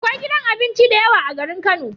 Akwai gidan abinci dayawa a garin kano